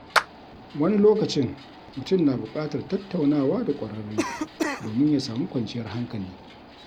Wani lokacin, mutum na bukatar tattaunawa da ƙwararre domin ya samu kwanciyar hankali.